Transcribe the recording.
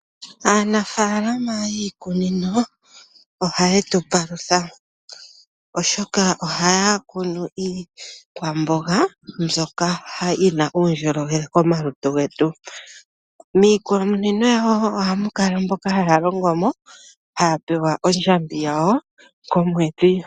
Aanafaalama yiikunino oha ye tu palutha oshoka o ha ya kunu iikwamboga mbyoka yi na uundjolowele komalutu getu. Miikunino yawo ohamukala mboka ha ya longo mo ha ya pewa ondjambi yawo komwedhi.